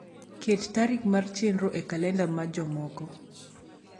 ket tarik mar chenro e kalenda mar jomoko